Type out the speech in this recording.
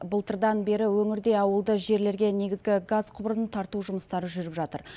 былтырдан бері өңірде ауылды жерлерге негізгі газ құбырын тарту жұмыстары жүріп жатыр